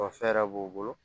Ɔ fɛɛrɛ b'u bolo